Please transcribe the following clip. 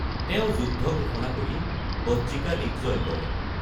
তেওঁ যুদ্ধ ঘোষণা কৰি বজ্জীকা লীগ জয় কৰে।